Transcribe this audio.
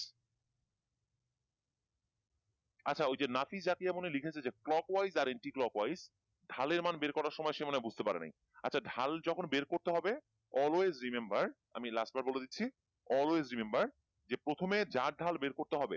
আচ্ছা ওই যে নাফি জাকিয়া মনে হয় লিখেছে যে clockwise আর anti-clockwise ঢালের মান বের করার সময় সে মনে হয় বুঝতে পারে নাই আচ্ছা ঢাল যখন বের করতে হবে always remember আমি last বার বলে দিচ্ছি always remember যে প্রথমে যার ঢাল বের করতে হবে,